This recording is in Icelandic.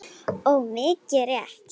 Og mikið rétt.